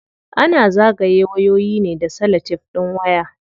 Ana zagaye wayoyi ne da salatef din waya.